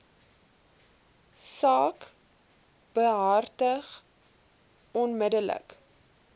saak behartig onmiddellik